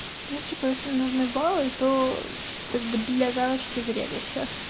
ну типа если нужны баллы то как бы для галочки зарегайся